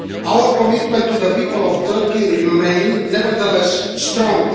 Our commitment to the people of Turkey remains, nevertheless, strong.